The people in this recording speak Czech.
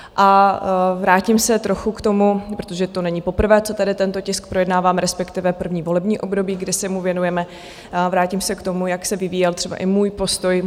A vrátím se trochu k tomu - protože to není poprvé, co tady tento tisk projednáváme, respektive první volební období, kdy se mu věnujeme - vrátím se k tomu, jak se vyvíjel třeba i můj postoj.